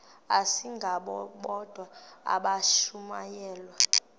asingabo bodwa abashumayeli